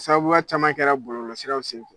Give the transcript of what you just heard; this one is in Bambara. Sababuba caman kɛra bɔlɔlɔsiraw senfɛ